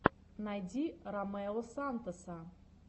найди ромео сантоса